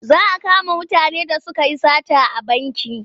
Za a kama mutanen da suka yi sata a banki.